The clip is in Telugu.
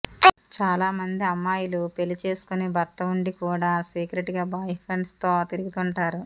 చాలా మంది అమ్మాయిలు పెళ్లి చేసుకుని భర్త ఉండి కూడా సీక్రెట్ గా బాయ్ ఫ్రెండ్స్ తో తిరుగుతుంటారు